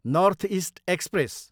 north East express